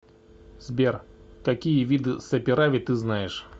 сбер какие виды саперави ты знаешь